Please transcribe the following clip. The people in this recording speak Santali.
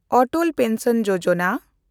ᱚᱴᱚᱞ ᱯᱮᱱᱥᱚᱱ ᱡᱳᱡᱚᱱᱟ